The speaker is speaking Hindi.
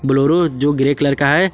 बोलरो जो ग्रे कलर का है।